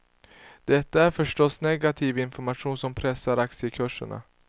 Detta är förstås negativ information som pressar aktiekurserna.